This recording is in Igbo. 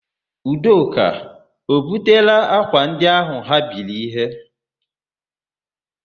Udoka o butela ákwà ndị áhụ̀ ha biri íhé?